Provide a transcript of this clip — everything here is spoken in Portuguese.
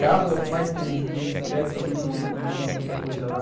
Carros é o que mais tem hoje em dia, bicicletas também não tem, não tem muita coisa lá.